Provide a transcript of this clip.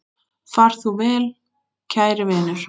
Far þú vel, kæri vinur.